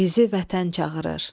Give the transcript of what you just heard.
Bizi Vətən çağırır.